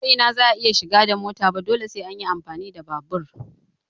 Ba ko ina za a iya shiga da mota ba dole sai an yi amfani da babur.